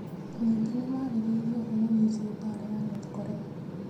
Ningĩ nĩ maarĩrĩirie ũhoro wĩgiĩ mbaara ya North Korea.